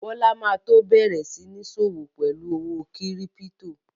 Bọ́lá ma tó bẹ̀rẹ̀ sí ń sọ́wọ́ pẹ̀lú owó kírípítò